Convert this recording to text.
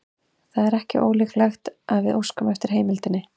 Það er ekki ólíklegt að við óskum eftir heimildinni.